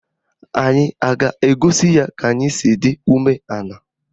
Anyị a ga-egosi ya ka anyị si dị umeala?